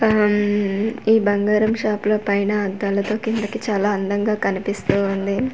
ఆమ్-మ్ ఈ బంగారం షపుల పైన అద్దలతో కిందికి చాలా అందంగా కనిపిస్తూ ఉంది.